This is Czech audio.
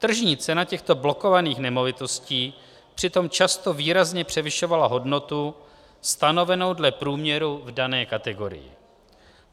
Tržní cena těchto blokovaných nemovitostí přitom často výrazně převyšovala hodnotu stanovenou dle průměru v dané kategorii.